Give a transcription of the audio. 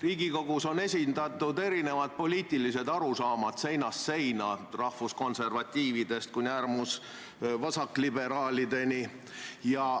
Riigikogus on esindatud erinevad poliitilised arusaamad, seinast seina, rahvuskonservatiividest kuni äärmusvasakliberaalideni.